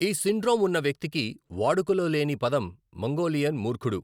ఈ సిండ్రోమ్ ఉన్న వ్యక్తికి వాడుకలో లేని పదం మంగోలియన్ మూర్ఖుడు.